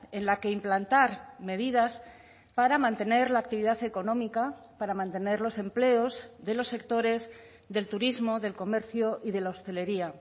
en la que implantar medidas para mantener la actividad económica para mantener los empleos de los sectores del turismo del comercio y de la hostelería